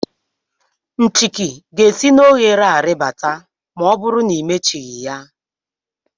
Nchiki ga-esi n'ohere a ribata ma ọ bụrụ na imechighi ya.